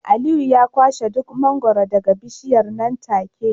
Aliyu ya kwashe duk mangwaro daga bishiyar nan take